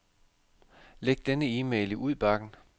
Læg denne e-mail i udbakken.